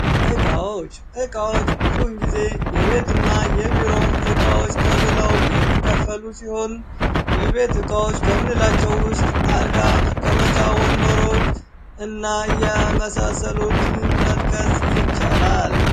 እቃዎች እቃዎች ብዙውን ጊዜ የቤትና የቢሮ እቃወች ተብለው የሚከፈሉ ሲሆን የቤት እቃዎች ከምንላቸው ውስጥ አልጋ መቀመጫ ወንበሮች እና የመሳሰሉትን መጥቀስ ይቻላል።